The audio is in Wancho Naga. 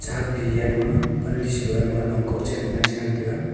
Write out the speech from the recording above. akkdi yeh ama pandi sa low ama long kgo chen ma chi ngan tega.